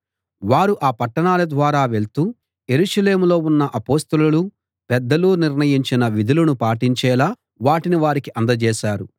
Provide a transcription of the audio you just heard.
వారు ఆ పట్టణాల ద్వారా వెళ్తూ యెరూషలేములో ఉన్న అపొస్తలులూ పెద్దలూ నిర్ణయించిన విధులను పాటించేలా వాటిని వారికి అందజేశారు